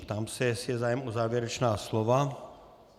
Ptám se, jestli je zájem o závěrečná slova.